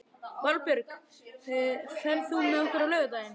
Valbjörk, ferð þú með okkur á laugardaginn?